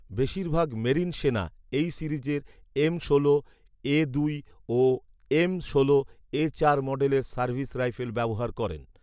বেশিরভাগ মেরিন সেনা এই সিরিজের এম ষোল এ দুই ও এম ষোল এ চার মডেলের সার্ভিস রাইফেল ব্যবহার করেন।